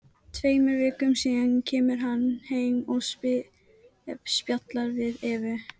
Tveimur vikum síðar kemur hann heim og spjallar við Evu.